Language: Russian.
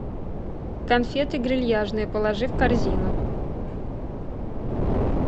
конфеты грильяжные положи в корзину